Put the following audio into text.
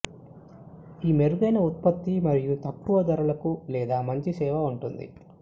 ఈ మెరుగైన ఉత్పత్తి మరియు తక్కువ ధరలకు లేదా మంచి సేవ ఉంటుంది